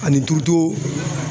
Ani turuto